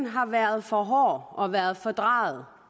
har været for hård og har været fordrejet